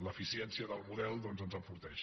l’eficiència del model doncs ens enforteix